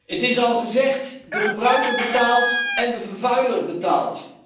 Het is al gezegd, de gebruiker betaalt en de vervuiler betaalt.